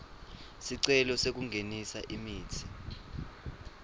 sicelo sekungenisa imitsi